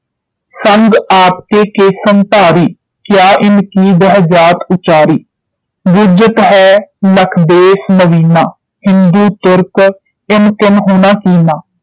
ਸੰਗ ਆਪ ਕੇ ਕੇਸਨ ਧਾਰੀ ਕ੍ਯਾ ਇਨ ਕੀ ਦਿਹੁ ਜਾਤਿ ਉਚਾਰੀ। ਬੁਝਤਿ ਹੈਂ ਲਖਿ ਬੇਸ ਨਵੀਨਾ ਹਿੰਦੂ ਤੁਰਕ ਇਸ ਕਿਨਹੂੰ ਨ ਕੀਨਾ